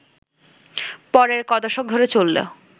পরের ক’দশক ধরে চলল